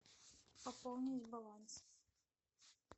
пополнить баланс